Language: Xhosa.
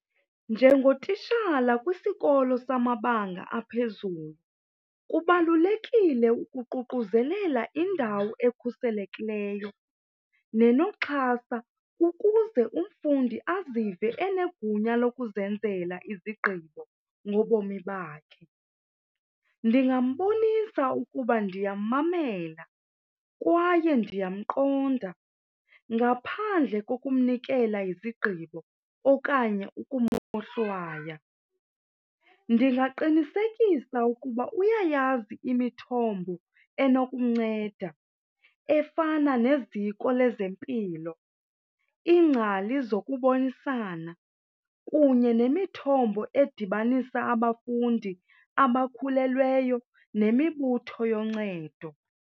Njengotishala kwisikolo samabanga aphezulu kubalulekile ukuququzelela indawo ekhuselekileyo nenoxhasa ukuze umfundi azive enegunya lokuzenzela izigqibo ngobomi bakhe. Ndingambonisa ukuba ndimmamele kwaye ndiyamqonda ngaphandle kokumnikela izigqibo okanye umohlwaya. Ndingaqinisekisa kuba uyayazi imithombo enokumnceda efana neziko lezempilo, iingcali zokubonisana kunye nemithombo edibanisa abafundi abakhulelweyo nemibutho yoncedo.